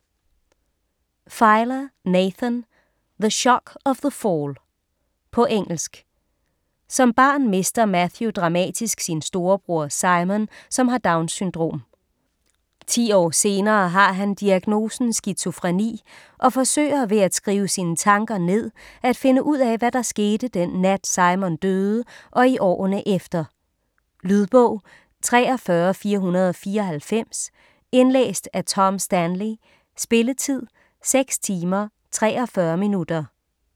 Filer, Nathan: The shock of the fall På engelsk. Som barn mister Matthew dramatisk sin storebror Simon, som har Downs-syndrom. 10 år senere har han diagnosen skizofreni og forsøger, ved at skrive sine tanker ned at finde ud af, hvad der skete den nat Simon døde og i årene efter. Lydbog 43494 Indlæst af Tom Stanley. Spilletid: 6 timer, 43 minutter.